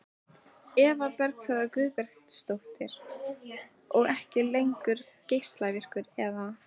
Eva Bergþóra Guðbergsdóttir: Og ekki lengur geislavirkur eða?